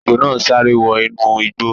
Ejò náà sáré wọ inú igbó